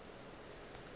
e be e le se